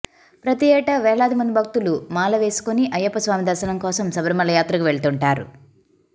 ప్రతి ఏటా వేలాది మంది భక్తులు మాల వేసుకుని అయ్యప్ప స్వామి దర్శనం కోసం శబరిమల యాత్రకు వెళ్తుంటారు